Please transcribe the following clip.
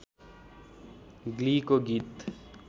ग्लीको गीत